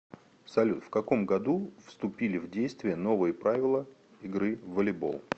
салют в каком году вступили в действие новые правила игры в волейбол